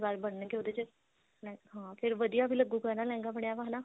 ਵਲ ਬਣਨਗੇ ਉਹਦੇ ਚ ਹਾਂ ਫੇਰ ਵਧੀਆ ਵੀ ਲਗੁੱਗਾ ਲਹਿੰਗਾ ਬਣਿਆ ਹਨਾ